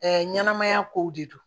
ɲɛnɛmaya kow de don